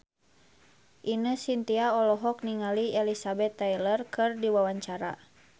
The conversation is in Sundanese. Ine Shintya olohok ningali Elizabeth Taylor keur diwawancara